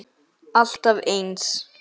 Alltaf eins!